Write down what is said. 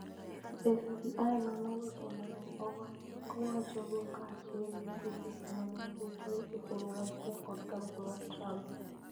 FBI nono weche ma ne owachogo kaachiel gi tudruok ma ne nitie e kind Russia kod kambi mar Trump.